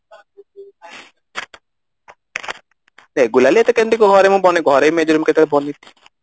regularly ଏତେ କେମିତି ଘରେ ମୁଁ ଘରେ ବି major ଏମିତି ବନେଇକି